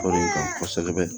O de ka ɲi kosɛbɛ